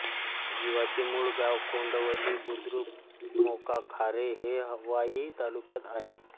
जिवाचे मूळ गाव कोंडवली बुद्रुक मौकाखारे हे वाई तालुक्यात आहे